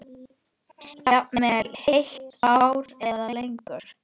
Jafnvel heilt ár eða lengur.